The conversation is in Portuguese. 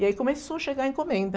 E aí começou a chegar encomenda.